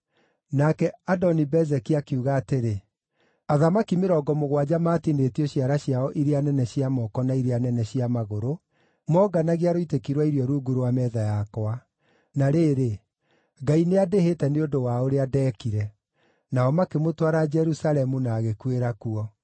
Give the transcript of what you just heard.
Nake Adoni-Bezeki akiuga atĩrĩ, “Athamaki mĩrongo mũgwanja matinĩtio ciara ciao iria nene cia moko na iria nene cia magũrũ, moonganagia rũitĩki rwa irio rungu rwa metha yakwa. Na rĩrĩ, Ngai nĩandĩhĩte nĩ ũndũ wa ũrĩa ndeekire.” Nao makĩmũtwara Jerusalemu, na agĩkuĩra kuo.